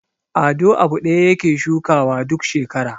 Ado abu ɗaya yake shukawa duk shekara.